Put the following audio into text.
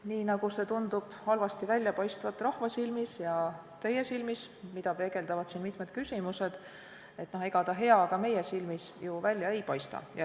Nii nagu see tundub halvasti välja paistvat rahva silmis ja teie silmis, mida peegeldavad siin mitmed küsimused, ega ta ka meie silmis ju hea välja ei paista.